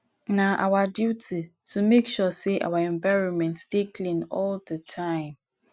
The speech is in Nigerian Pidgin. na our duty to make sure sey our environment dey clean all di time